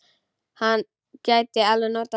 Hann gæti alveg notað þá.